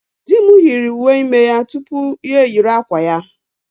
Dị m yiri uwe ime ya tupu ya eyiri akwa ya.